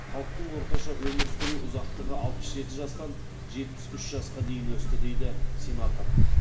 халықтың орташа өмір сүру ұзақтығы алпыс жеті жастан жетпіс үш жасқа дейін өсті деді сенатор